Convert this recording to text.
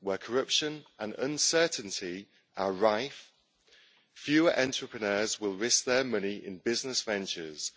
Where corruption and uncertainty are rife, few entrepreneurs will risk their money in business ventures